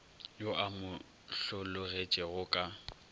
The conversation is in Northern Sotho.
yo a mo hlologetšego ka